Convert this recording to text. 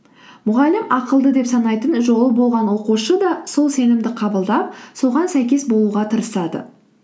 мұғалім ақылды деп санайтын жолы болған оқушы да сол сенімді қабылдап соған сәйкес болуға тырысады